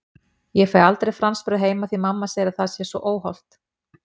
Ég fæ aldrei franskbrauð heima því mamma segir að það sé svo óhollt!